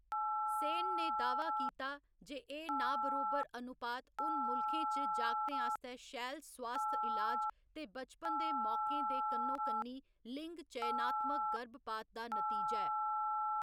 सेन ने दाह्‌‌‌वा कीता जे एह्‌‌ नाबरोबर अनुपात उन मुल्खें च जागतें आस्तै शैल सोआस्थ इलाज ते बचपन दे मौकें दे कन्नो कन्नी लिंग चयनात्मक गर्भपात दा नतीजा ऐ।